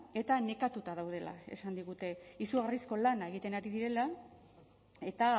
eta nekatuta daudela esan digute izugarrizko lana egiten ari direla eta